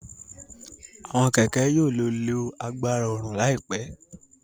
Awọn kẹkẹ yóò lè lo àgbàrá oòrùn laipẹ